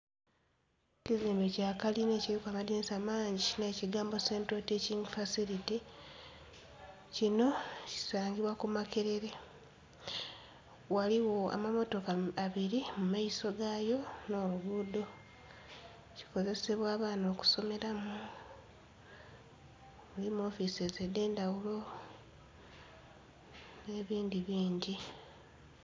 Ekizimbe kya kalina ekiliku amadhinisa mangi nh'ekigambo 'Central Teaching Facility' , kino kisangibwa ku Makerere. Ghaligho amammotoka abiri mu maiso ga yo nh'oluguudo. Kikozesebwa abaana okusomeramu, mulimu 'offices' edh'endhaghulo, nh'ebindhi bingi.